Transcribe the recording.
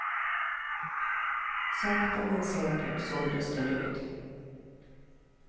Sakta men säkert såldes den ut.